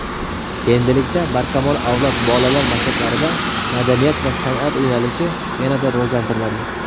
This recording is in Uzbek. Endilikda "Barkamol avlod" bolalar maktablarida "Madaniyat va san’at" yo‘nalishi yanada rivojlantiriladi.